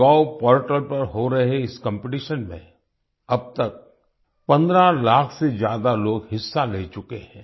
MyGov portal पर हो रहे इस कॉम्पिटिशन में अब तक 15 लाख से ज्यादा लोग हिस्सा ले चुके हैं